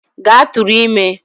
Gaa tụrụ ime!